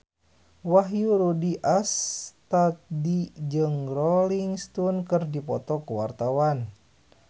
Wahyu Rudi Astadi jeung Rolling Stone keur dipoto ku wartawan